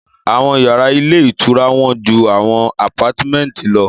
Àwọn yàrá ilé ìtura wọ́n ju àwọn àpátímẹ̀ntì lọ